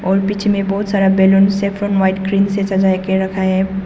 और बीच में बहुत सारा बैलून सैफरॉन व्हाइट क्रीम से सजा के रखा है।